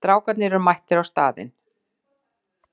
Strákarnir eru mættir á staðinn.